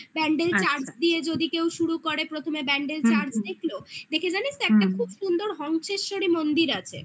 Bandel church দিয়ে যদি কেউ শুরু করে প্রথমে ব্যান্ডেল church দেখলো দেখে জানিস তো হু একটা খুব সুন্দর হংসেশ্বরী মন্দির আছে